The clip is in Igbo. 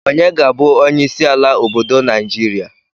Onye ga-abụ onyeisi ala obodo Naịjirịa.